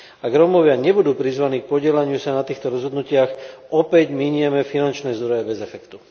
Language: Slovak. Ak Rómovia nebudú prizvaní k podieľaniu sa na týchto rozhodnutiach, opäť minieme finančné zdroje bez efektu.